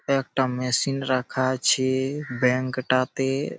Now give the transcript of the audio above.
একটা মেশিন রাখা আছে-এ ব্যাংক -টা তে-এ--